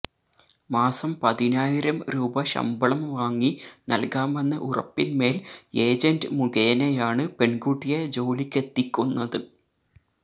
മാസം പതിനായിരും രൂപ ശമ്പളം വാങ്ങി നൽകാമെന്ന ഉറപ്പിന്മേൽ ഏജന്റ് മുഖേനയാണ് പെൺകുട്ടിയെ ജോലിക്കെത്തിക്കുന്നത്